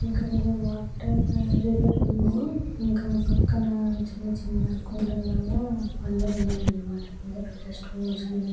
ఇక్కడేదో ఒక water reserve ఉంది ఇంకా పక్కన చిన్న చిన్న కొండల్లాగా బండాలున్నాయి అన్నమాట అంటే పెద్ద స్టోన్స్ ఉన్నాయ్